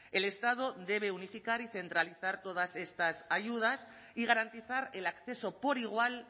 el estado debe unificar y centralizar todas estas ayudas y garantizar el acceso por igual